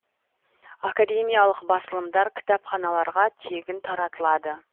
академиялық басылымдар кітапханаларға тегін таратылады